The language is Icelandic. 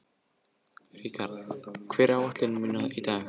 Rikharð, hvað er á áætluninni minni í dag?